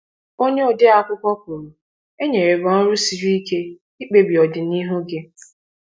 Onye ode akwụkwọ kwuru: “E nyere gị ọrụ siri ike—ịkpebi ọdịnihu gị.